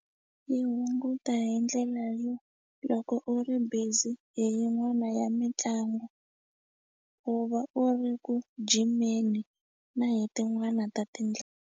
Yi hunguta hi ndlela yo loko u ri busy hi yin'wana ya mitlangu u va u ri ku jimeni na hi tin'wana ta .